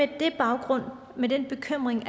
den baggrund og med den bekymring